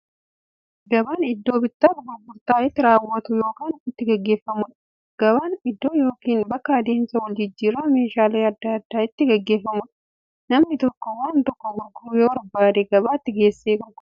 Gabaan iddoo bittaaf gurgurtaan itti raawwatu yookiin itti gaggeeffamuudha. Gabaan iddoo yookiin bakka adeemsa waljijjiiraan meeshaalee adda addaa itti gaggeeffamuudha. Namni tokko waan tokko gurguruu yoo barbaade, gabaatti geessee gurgurata.